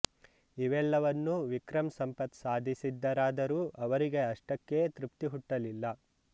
ಇವೆಲ್ಲವನ್ನೂ ವಿಕ್ರಮ್ ಸಂಪತ್ ಸಾಧಿಸಿದ್ದಾರಾದರೂ ಅವರಿಗೆ ಅಷ್ಟಕ್ಕೇ ತೃಪ್ತಿ ಹುಟ್ಟಲಿಲ್ಲ